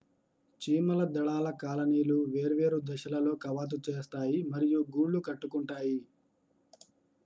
చీమల దళాల కాలనీలు వేర్వేరు దశలలో కవాతు చేస్తాయి మరియు గూళ్ళు కట్టుకుంటాయి